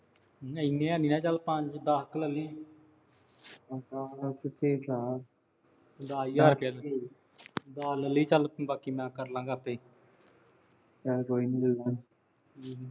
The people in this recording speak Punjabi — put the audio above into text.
ਇੰਨਾ ਨੀ ਚੱਲ, ਪੰਜ ਦਸ ਕੇ ਲੈ ਲਈ। ਦਸ ਹਜ਼ਾਰ ਰੁਪਇਆ ਲੈ ਲਈ, ਦਸ ਲੈ ਲਈ, ਚਲ ਬਾਕੀ ਮੈਂ ਕਰ ਲਾਂ ਗਾਂ ਆਪੇ ਈ। ਚਲ ਕੋਈ ਨੀ ਦੇਖ ਲਉ।